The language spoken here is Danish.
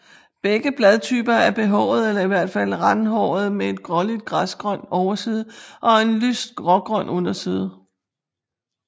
Begge bladtyper er behårede eller i hvert fald randhårede med en gråligt græsgrøn overside og en lyst grågrøn underside